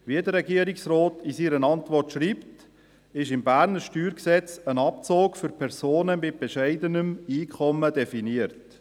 Wie der Regierungsrat in seiner Antwort schreibt, ist im bernischen StG ein Abzug für Personen mit bescheidenem Einkommen definiert.